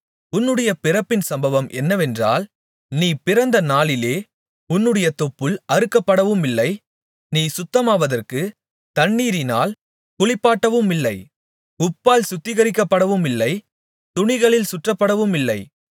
உன்னுடைய பிறப்பின் சம்பவம் என்னவென்றால் நீ பிறந்த நாளிலே உன்னுடைய தொப்புள் அறுக்கப்படவுமில்லை நீ சுத்தமாவதற்குத் தண்ணீரினால் குளிப்பாட்டப்படவுமில்லை உப்பால் சுத்திகரிக்கப்படவுமில்லை துணிகளில் சுற்றப்படவுமில்லை